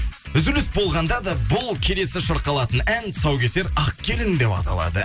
үзіліс болғанда да бұл келесі шырқалатын ән тұсаукесер ақ келін деп аталады